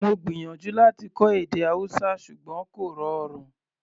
Mo gbìyànjú láti kọ́ èdè Hausa ṣùgbọ́n kò rọrùn